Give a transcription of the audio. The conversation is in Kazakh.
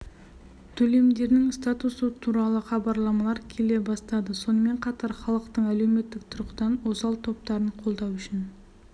төлемдерінің статусы туралы хабарламалар келе бастады сонымен қатар халықтың әлеуметтік тұрғыдан осал топтарын қолдау үшін